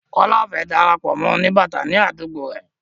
Kọ́lá ò fẹ́ darapọ̀ mọ́ ẹgbẹ́ oníbàtà ní àdúgbó ẹ.